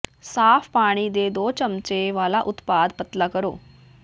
ਸਾਫ ਪਾਣੀ ਦੇ ਦੋ ਚਮਚੇ ਵਾਲਾ ਉਤਪਾਦ ਪਤਲਾ ਕਰੋ